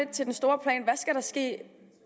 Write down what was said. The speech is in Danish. til den store plan hvad skal der ske